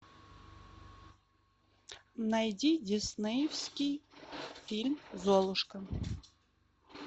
найди диснеевский фильм золушка